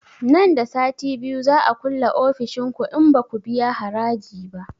Nan da sati biyu za a kulle ofishin ku in baku biya haraji ba